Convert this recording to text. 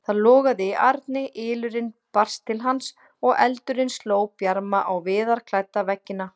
Það logaði í arni, ylurinn barst til hans og eldurinn sló bjarma á viðarklædda veggina.